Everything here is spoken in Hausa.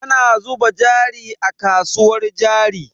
Ana zuba jari a kasuwar jari.